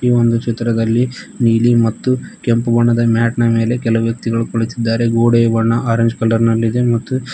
ಈ ಒಂದು ಚಿತ್ರದಲ್ಲಿ ನೀಲಿ ಮತ್ತು ಕೆಂಪು ಬಣ್ಣದ ಮ್ಯಾಟ್ ನ ಮೇಲೆ ಕೆಲವು ವ್ಯಕ್ತಿಗಳು ಕುಳಿತಿದ್ದಾರೆ ಗೋಡೆಯ ಬಣ್ಣ ಆರೆಂಜ್ ಕಲರ್ ನಲ್ಲಿ ಇದೆ ಮತ್ತು--